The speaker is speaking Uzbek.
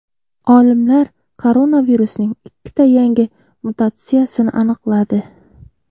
Olimlar koronavirusning ikkita yangi mutatsiyasini aniqladi.